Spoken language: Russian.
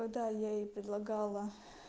когда я ей предлагала